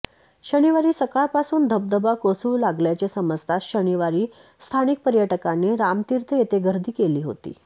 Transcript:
शनिवारी सकाळपासून धबधबा कोसळू लागल्याचे समजताच शनिवारी स्थानिक पर्यटकांनी रामतीर्थ येथे गर्दी केली होती